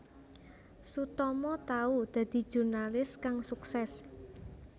Sutomo tau dadi jurnalis kang suksès